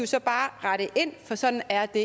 så bare rette ind for sådan er det